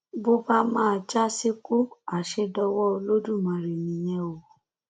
bó bá máa jà síkù àṣẹ dọwọ olódùmarè nìyẹn o